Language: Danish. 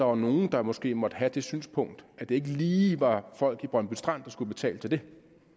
var nogle der måske måtte have det synspunkt at det ikke lige var folk i brøndby strand der skulle betale til det